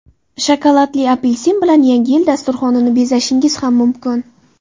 Shokoladli apelsin bilan yangi yil dasturxonini bezashingiz ham mumkin.